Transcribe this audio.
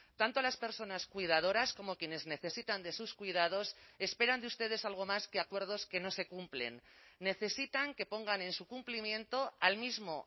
tanto las personas cuidadoras como quienes necesitan de sus cuidados esperan de ustedes algo más que acuerdos que no se cumplen necesitan que pongan en su cumplimiento al mismo